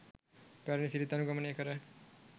පැරැණි සිරිත් අනුගමනය කර